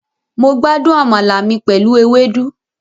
Mo gbádùn àmàlà mi pẹ̀lú ewédú